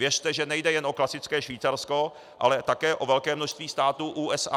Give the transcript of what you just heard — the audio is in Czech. Věřte, že nejde jen o klasické Švýcarsko, ale také o velké množství států USA.